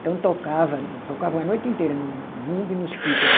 Então tocava, tocavam a noite inteira no bumbo e nos pífaro